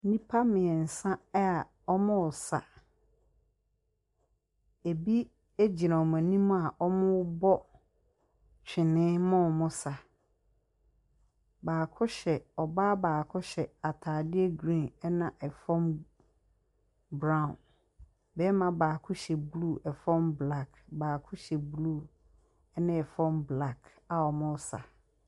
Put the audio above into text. Nnipa mmeɛnsa a wɔresa. Ɛbi gyina wɔn anim a wɔrebɔ twene ma wɔsa. Baako hyɛ ɔbaa baako hyɛ atadeɛ green, ɛna ɛfam brown. Barima baako hyɛ blue, ɛfam black. Baako hyɛ blue ne fam black a wɔresa.